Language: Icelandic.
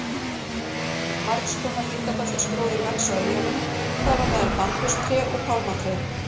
Margskonar hitabeltisgróður vex á eyjunum þar á meðal bambustré og pálmatré.